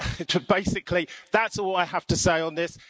So basically that's all I have to say on this.